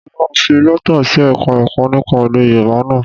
Mo máa fi lẹ́tà sí Ẹ̀ka-ẹ̀kọ́ nípa èdè Yorùbá náà